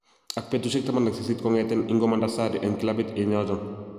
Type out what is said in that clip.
Ak betusiek 18 kong'eten ingomanda Sarri en kilabit en yoton